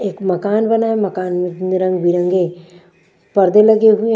एक मकान बना है मकान में रंग-बिरंगे पर्दे लगे हुए--